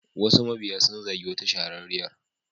Wasu mabiya sun zagi wata shahararriyar.